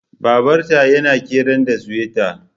Babar ta na kiran da suwethat